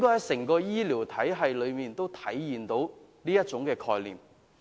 整個醫療體系都應體現這概念。